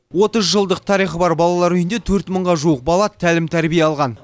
отыз жылдық тарихы бар балалар үйінде төрт мыңға жуық бала тәлім тәрбие алған